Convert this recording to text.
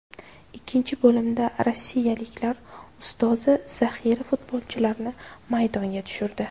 Ikkinchi bo‘limda rossiyaliklar ustozi zaxira futbolchilarini maydonga tushirdi.